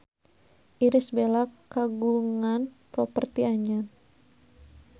Irish Bella kagungan properti anyar